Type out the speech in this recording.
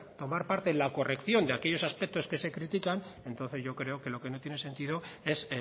tomar parte en la corrección de aquellos aspectos que se critican entonces yo creo que lo que no tiene sentido es